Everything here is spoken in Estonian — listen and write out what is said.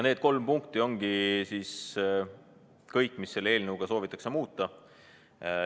Need kolm punkti ongi kõik, mida selle eelnõuga soovitakse muuta.